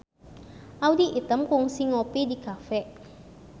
Audy Item kungsi ngopi di cafe